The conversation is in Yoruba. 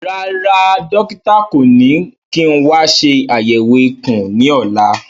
Rárá, dókítà kò ní kí n wa ṣe àyẹ̀wò ikùn ní ọ̀la